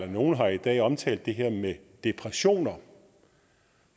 nogle har i dag omtalt det her med depressioner